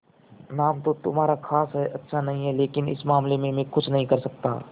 नाम तो तुम्हारा खास अच्छा नहीं है लेकिन इस मामले में मैं कुछ नहीं कर सकता